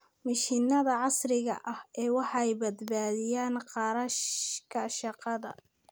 Mashiinnada casriga ahi waxay badbaadiyaan kharashka shaqada.